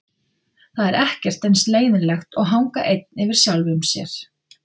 Það er ekkert eins leiðinlegt og að hanga einn yfir sjálfum sér.